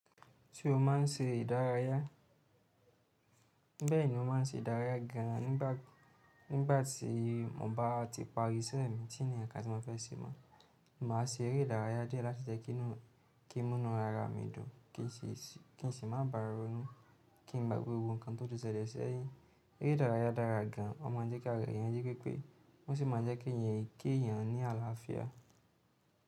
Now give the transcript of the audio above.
Ṣé o máà ń ṣe ìdárayá? Bẹ́ẹ̀ni mo máa ń ṣe ìdárayá gan an. Nígbàtí mo bá ti parí iṣẹ́ mi, tí i ni nkankan tí mo fẹ́ ṣe mọ́, màá ṣe eré ìdárayá díẹ̀ láti jẹ́ kí mu inú ara mi dùn, kí n sì má bàà ronu, kí n gbagbe gbogbo ǹkan tó ti sele sẹ́yìn. Eré ìdárayá dára gan an. Wọ́n maa n jẹ́ ki ara eeyan jipepe, ó si maa n jẹ́ keeyan kí èèyàn ní àlàáfíà.